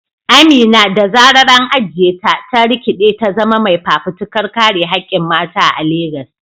Amina, da zarar an ajiye ta, ta rikide ta zama mai fafutukar kare hakkin mata a Legas.